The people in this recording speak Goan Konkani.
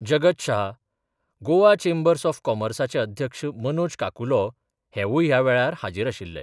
जगत शहा, गोवा चेंबर्स ऑफ कॉमर्साचे अध्यक्ष मनोज काकुलो हेवूय ह्या वेळार हाजीर आशिल्ले.